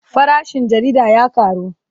Farashin jarida ya ƙaru.